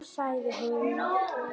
Sagði hún.